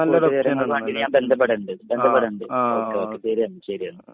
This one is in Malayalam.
ആ ആ ആ ആ